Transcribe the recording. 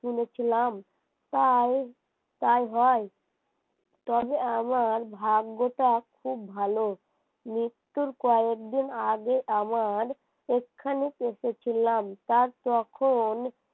শুনেছিলাম তাই হয় তবে আমার ভাগ্যটা খুব ভালো মৃত্যুর কয়েকদিন আগে আমার এখানে এসেছিলাম তার তখন